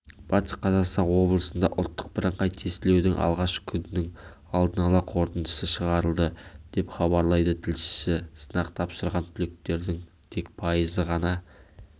батыс қазақстан облысында ұлттық бірыңғай тестілеудің алғашқы күнінің алдын ала қорытындысы шығарылды деп хабарлайды тілшісі сынақ тапсырған түлектердің тек пайызы ғана